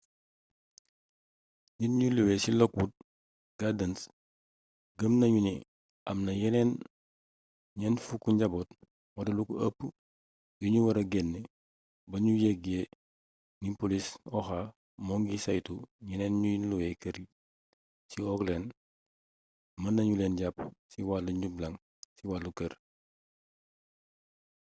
nit ñu luwe ci lockwood gardens gëm nañu ni am na yeneen 40 njaboot wala lu ko ëpp yu ñu wara génne ba ñu yëge ni polis oha moo ngi saytu ñeneen ñuy luwe kër ci oakland mën na ñu leen jàpp ci wàll njublaŋ ci wàllu kër